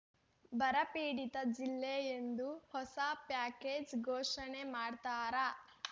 ಬರಪೀಡಿತ ಜಿಲ್ಲೆ ಎಂದು ಹೊಸ ಪ್ಯಾಕೇಜ್‌ ಘೋಷಣೆ ಮಾಡ್ತಾರಾ